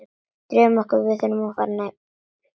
Nú drífum við okkur fram!